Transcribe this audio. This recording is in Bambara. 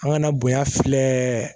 An kana bonya filɛ